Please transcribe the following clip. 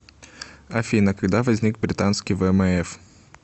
афина когда возник британский вмф